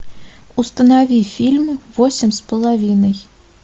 установи фильм восемь с половиной